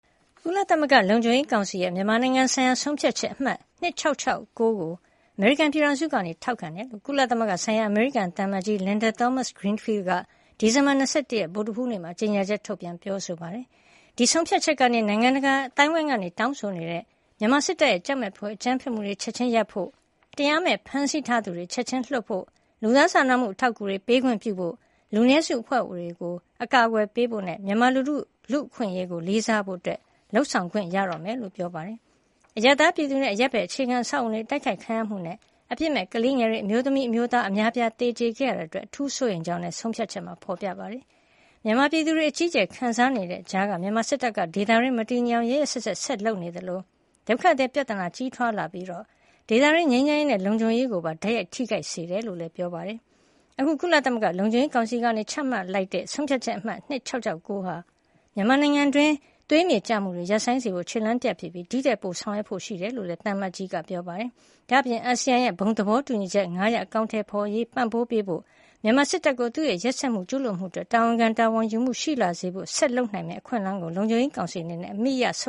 ကုလသမဂ္ဂ လုံခြုံရေးကောင်စီရဲ့ မြန်မာနိုင်ငံဆိုင်ရာ ဆုံးဖြတ်ချက် အမှတ် ၂၆၆၉ ကို အမေရိကန်ပြည်ထောင်စုက ထောက်ခံကြောင်း ကုလသမဂ္ဂဆိုင်ရာ အမေရိကန် သံအမတ်ကြီး Linda Thomas-Greenfield က ဒီဇင်ဘာလ ၂၁ ရက် ဗုဒ္ဓဟူးနေ့မှာ ကြေညာချက် ထုတ်ပြန် ပြောဆိုပါတယ်။ ဒီဆုံးဖြတ်ချက်ကနေ နိုင်ငံတကာ အသိုင်းဝိုင်းက တောင်းဆိုနေတဲ့ မြန်မာစစ်တပ်ရဲ့ ကြောက်မက်ဖွယ် အကြမ်းဖက်မှုတွေ ချက်ချင်းရပ်ပစ်ဖို့၊ တရားမဲ့ဖမ်းထားသူတွေကို ချက်ချင်းလွှတ်ပေးဖို့၊ လူသားစာနာမှု အထောက်ကူတွေ ပေးခွင့်ပြုဖို့၊ လူနည်းစုအဖွဲ့တွေကို အကာကွယ်ပေးဖို့နဲ့ မြန်မာလူထုရဲ့ လူ့အခွင့်ရေးကို လေးစားဖို့တွေအတွက် လုပ်ဆောင်ခွင့်ရတော့မှာ ဖြစ်ကြောင်း ပြောပါတယ်။ အရပ်သား ပြည်သူနဲ့ အရပ်ဖက် အခြေခံအဆောက်အအုံတွေ အတိုက်ခိုက်ခံရမှုကနေ အပစ်မဲ့ကလေးငယ်တွေ၊ အမျိုးသမီး၊ အမျိုးသား အများအပြား သေကြေခဲ့ရတာ အတွက် အထူးစိုးရိမ်ကြောင်းလည်း ဒီဆုံးဖြတ်ချက်မှာ ဖေါ်ပြထားတာပါ။ မြန်မာပြည်သူတွေ အကြီးအကျယ် ခံစားနေတဲ့ ကြားက မြန်မာစစ်တပ်က ဒေသတွင်း မတည်ငြိမ်အောင် ရက်ရက်စက်စက် ဆက်လက်လုပ်ဆောင်နေသလို ဒုက္ခသည် ပြဿနာ ကြီးထွားလာပြီး ဒေသတွင်း ငြိမ်းချမ်းရေးနဲ့ လုံခြုံရေးကိုပါ တိုက်ရိုက် ထိခိုက်စေတယ်လို့လည်း ပြောပါတယ်။ အခု ကုလသမဂ္ဂ လုံခြုံရေးကောင်စီက ချမှတ်တဲ့ ဆုံးဖြတ်ချက် အမှတ် ၂၆၆၉ ဟာ မြန်မာနိုင်ငံတွင်း သွေးမြေကျမှုတွေ ရပ်ဆိုင်းစေဖို့ ခြေလှမ်းတရပ် ဖြစ်ပြီး ဒီထက်ပို ဆောင်ရွက်ဖို့ ရှိတယ်လို့လည်း သံအမတ်ကြီးက ပြောပါတယ်။ ဒါ့အပြင် အာဆီယံရဲ့ ဘုံသဘောတူညီချက် ၅ ချက် အကောင်ထည်ဖေါ်ရေးကို ပံ့ပိုးပေးဖို့၊ မြန်မာစစ်တပ်ကို သူ့ရဲ့ ရက်စက်မှု၊ ကျူးလွန်မှုတွေ အတွက် တာဝန်ခံ တာဝန်ယူမှု ရှိလာစေဖို့ ဆက်လက်လုပ်ဆောင်နိုင်မယ့် ဒီအခွင့်အလမ်းကို လုံခြုံရေးကောင်စီအနေနဲ့ အမိအရ ဆု